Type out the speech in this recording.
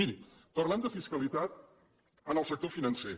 mirin parlem de fiscalitat en el sector financer